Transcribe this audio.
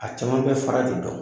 A caman bɛ fara de dɔn